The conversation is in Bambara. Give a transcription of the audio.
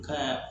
Ka